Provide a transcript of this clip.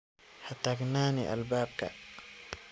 Hataknani albabka.